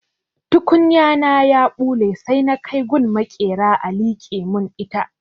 Tukunya na ya ɓule sai na kai gun maƙera a liƙe mun ita.